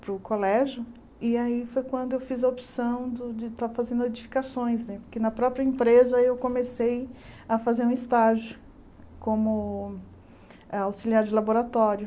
para o colégio e aí foi quando eu fiz a opção do de estar fazendo edificações né, porque na própria empresa eu comecei a fazer um estágio como eh auxiliar de laboratório.